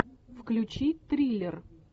включи триллер